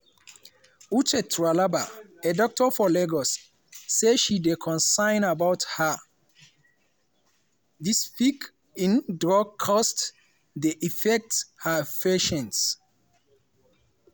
uche tralagba a doctor for lagos say she dey concerned about how di spike in drug costs dey affect her patients.